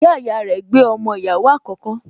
Ìyáàyá rẹ̀ gbé ọmọ ìyàwó àkókò